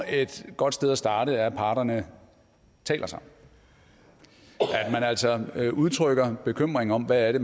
er et godt sted at starte at parterne taler sammen at man altså udtrykker bekymring om hvad det